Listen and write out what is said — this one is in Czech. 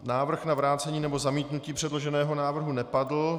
Návrh na vrácení nebo zamítnutí předloženého návrhu nepadl.